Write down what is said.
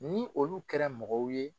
Ni olu kɛra mɔgɔw ye